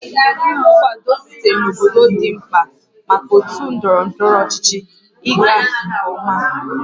Nkwado sitere na obodo dị mkpa maka otu ndọrọ ndọrọ ọchịchị ịga nke ọma